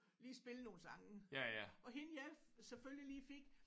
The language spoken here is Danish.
Lige spille nogle sange og hende jeg selvfølgelig lige fik